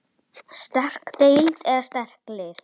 Sterk deild eða sterk lið?